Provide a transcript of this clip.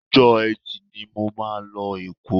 Ọjọ́ Ẹtì ni mo máa lọ Èkó